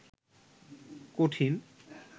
কঠিন